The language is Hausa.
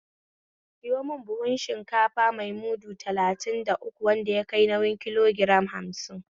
Sayo mun buhun shinkafa mai mudu talatin da uku wanda yakai nauyin kilogiram hamsin